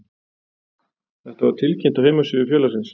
Þetta var tilkynnt á heimasíðu félagsins